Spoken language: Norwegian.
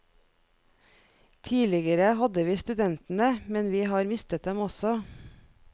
Tidligere hadde vi studentene, men vi har mistet dem også.